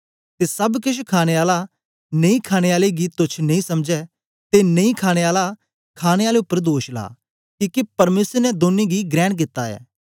ते सब केछ खाणे आला नेईखाणे आले गी तोच्छ नेई समझै ते नेई खाणे आला खाणे आले उपर दोष ला किके परमेसर ने दौनी गी ग्रेण कित्ता ऐ